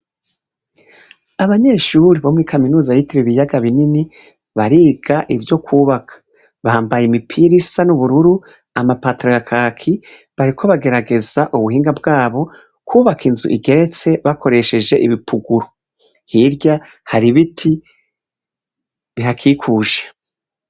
Abanyeshuri bomuri kaminuza yitiriwe ibiyaga binini barirya ivyo kwubaka, bahambaye imipira isa n'ubururu, amapatara yakaki, bariko bagerageza ubuhinga bwabo kwubaka inzu igeretse bakoresheje ibipuguru, hirya hari ibiti bihakikuje.